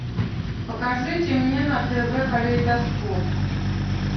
покажите мне на тв калейдоскоп